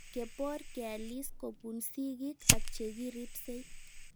Kepor kealis kopun sig'ik ak che ripsei